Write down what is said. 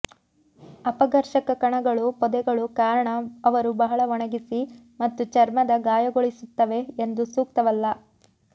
ಅಪಘರ್ಷಕ ಕಣಗಳು ಪೊದೆಗಳು ಕಾರಣ ಅವರು ಬಹಳ ಒಣಗಿಸಿ ಮತ್ತು ಚರ್ಮದ ಗಾಯಗೊಳಿಸುತ್ತವೆ ಎಂದು ಸೂಕ್ತವಲ್ಲ